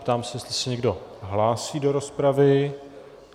Ptám se, jestli se někdo hlásí do rozpravy.